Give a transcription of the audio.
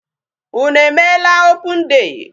Unu emeela open day?